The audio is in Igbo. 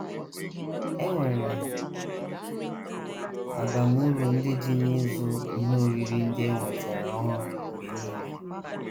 E nwere abamuru ndị dị n’ịzụ ihe oriri ndị e nwetara ọhụrụ mgbe nile